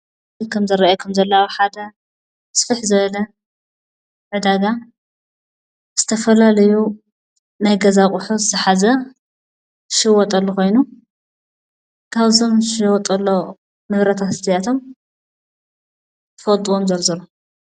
እዚ ከም ዝረኣየኩም ዘሎ ኣብ ሓደ ስፈሕ ዝበለ ዕዳጋ ዝተፈላለዩ ናይ ገዛ ኣቁሑ ዝሓዘ ዝሽወጠሉ ኾይኑ ካብዞም ዝሽወጠሉ ንብረታት እዚኣቶም ትፈልጥዎም ዘርዝሩ?